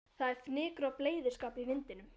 Það er fnykur af bleyðiskap í vindinum.